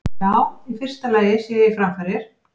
Já, í fyrsta lagi sé ég framfarir.